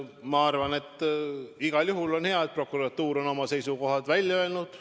Ma arvan, et igal juhul on hea, et prokuratuur on oma seisukoha välja öelnud.